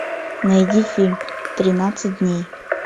найди фильм тринадцать дней